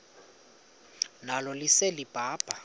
nalo lise libaha